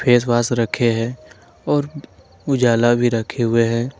Face wash रखे हैं और उजाला भी रखे हुए हैं।